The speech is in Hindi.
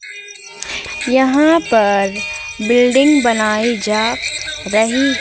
यहां पर बिल्डिंग बनाई जा रही--